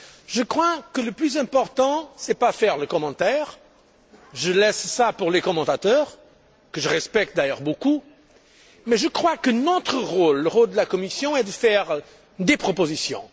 Je crois que le plus important n'est pas de commenter je laisse ça aux commentateurs, que je respecte d'ailleurs beaucoup mais je crois que notre rôle le rôle de la Commission est de faire des propositions.